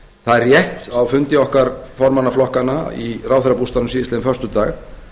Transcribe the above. það er rétt að á fundi okkar formanna flokkanna í ráðherrabústaðnum síðastliðinn föstudag